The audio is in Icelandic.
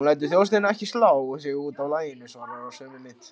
Hann lætur þjóstinn ekki slá sig út af laginu, svarar í sömu mynt.